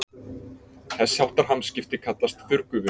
Þess háttar hamskipti kallast þurrgufun.